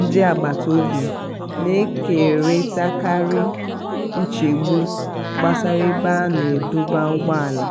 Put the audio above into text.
ndị agbata obi na-ekeritakarị nchegbu gbasara ebe a na-adọba ụgbọala